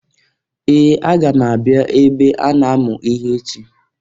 Ee! Aga m abịa ebe a na-amụ ihe echi.